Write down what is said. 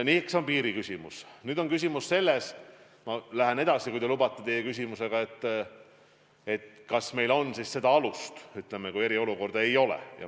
Nüüd on küsimus selles – ma lähen edasi, kui te lubate, teie küsimusega –, kas meil on siis seda alust, kui eriolukorda enam ei ole, piiranguid kehtestada.